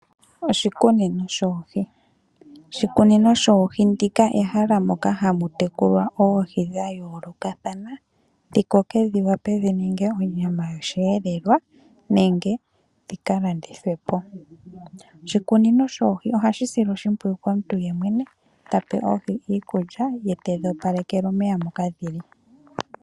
Oshikunino shoohi. Oshikunino shoohi ehala moka hamu tekulwa oohi dhayoolokathana, dhi koke dho dhiwape dhininge onyama yosheelelwa, nenge dhikalandithwepo. Oshikunino shoohi ohashi silwa oshimpwiyu komuntu yemwene, tape oohi iikulya, ye ta opaleke omeya moka dhili.